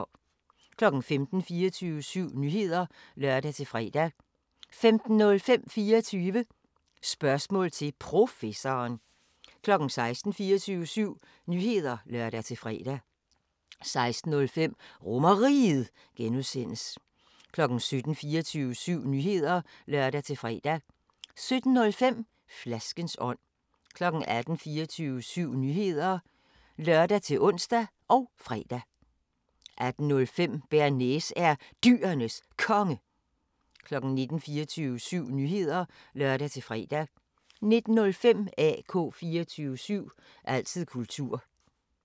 15:00: 24syv Nyheder (lør-fre) 15:05: 24 Spørgsmål til Professoren 16:00: 24syv Nyheder (lør-fre) 16:05: RomerRiget (G) 17:00: 24syv Nyheder (lør-fre) 17:05: Flaskens ånd 18:00: 24syv Nyheder (lør-ons og fre) 18:05: Bearnaise er Dyrenes Konge 19:00: 24syv Nyheder (lør-fre) 19:05: AK 24syv – altid kultur